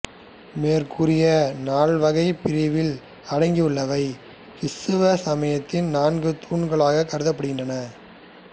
மேற்கூறிய நால்வகைப் பிரிவில் அடங்கியுள்ளவை கிறித்தவ சமயத்தின் நான்கு தூண்களாகக் கருதப்படுகின்றன